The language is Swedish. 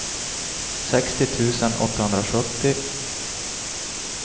sextio tusen åttahundrasjuttio